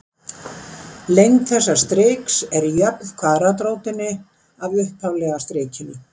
Lengd þessa striks er jöfn kvaðratrótinni af upphaflega strikinu.